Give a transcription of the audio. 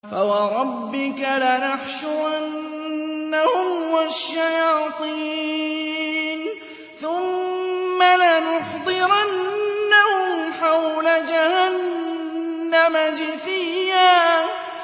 فَوَرَبِّكَ لَنَحْشُرَنَّهُمْ وَالشَّيَاطِينَ ثُمَّ لَنُحْضِرَنَّهُمْ حَوْلَ جَهَنَّمَ جِثِيًّا